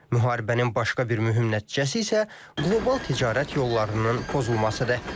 Müharibənin başqa bir mühüm nəticəsi isə qlobal ticarət yollarının pozulmasıdır.